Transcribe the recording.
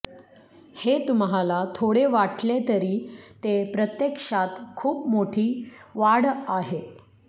हे तुम्हाला थोडे वाटले तरी ते प्रत्यक्षात खूप मोठी वाढ आहे